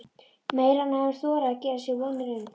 Meira en hann hafði þorað að gera sér vonir um.